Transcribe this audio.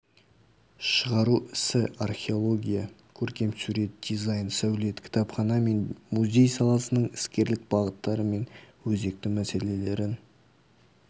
шығару ісі археология көркемсурет дизаин сәулет кітапхана мен музей саласының іскерлік бағыттары мен өзекті мәселелерін